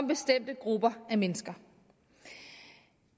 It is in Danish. bestemte grupper mennesker